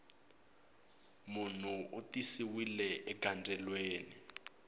munhu u tisiwile egandzweleni